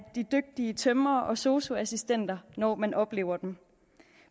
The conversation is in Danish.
de dygtige tømrere og sosu assistenter når man oplever dem